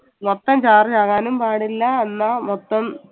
മൊത്തം charge ആകാനും പാടില്ല അന്ന മൊത്തം